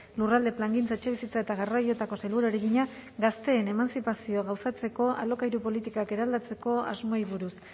lurralde plangintza etxebizitza eta garraioetako sailburuari egina gazteen emantzipazioa gauzatzeko alokairu politikak eraldatzeko asmoei buruz